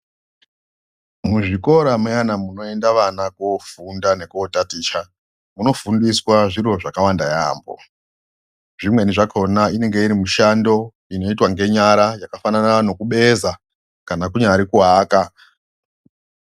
Muzvikora muyana munoenda vana kofunda nekotaticha munofundiswa zviro zvakawanda yaambo. Zvimweni zvakona inenge iri mishando inoitwa ngenyara yakafanana nokubeza kana kunyari kuaka.